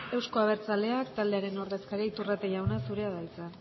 euzko abertzaleak taldearen ordezkaria iturrate jauna zurea da hitza